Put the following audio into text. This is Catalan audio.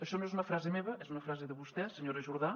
això no és una frase meva és una frase de vostè senyora jordà